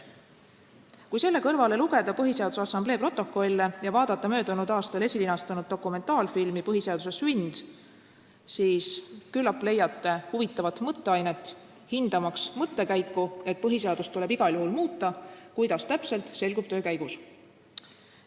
Kui selle kõrvale lugeda Põhiseaduse Assamblee protokolle ja vaadata möödunud aastal esilinastunud dokumentaalfilmi "Põhiseaduse sünd", siis küllap leiate huvitavat mõtteainet, hindamaks mõttekäiku, et põhiseadust tuleb igal juhul muuta, kuidas täpselt, see selgub töö käigus.